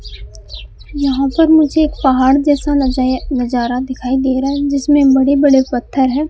यहां पर मुझे एक पहाड़ जैसा नजाया नजारा दिखाई दे रहा है जिसमें बड़े बड़े पत्थर है।